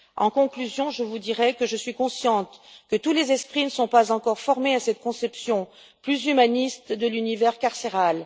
En conclusion, je vous dirai que je suis consciente que tous les esprits ne sont pas encore formés à cette conception plus humaniste de l'univers carcéral.